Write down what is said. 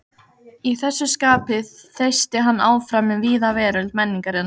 Í þessu skapi þeysti hann áfram um víða veröld menningarinnar.